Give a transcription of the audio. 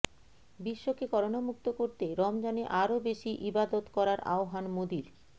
বিশ্বকে করোনা মুক্ত করতে রমজানে আরও বেশি ইবাদত করার আহ্বান মোদির